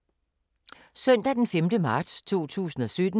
Søndag d. 5. marts 2017